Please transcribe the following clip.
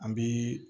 An bi